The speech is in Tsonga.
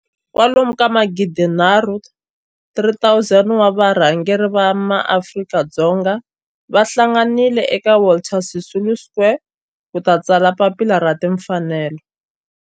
Kwalomu ka magidinharhu, 3 000, wa varhangeri va maAfrika-Dzonga va hlanganile eka Walter Sisulu Square ku ta tsala Papila ra Tinfanelo.